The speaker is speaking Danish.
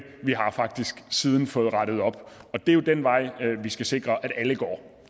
vi har faktisk siden fået rettet op og det er jo den vej vi skal sikre at alle går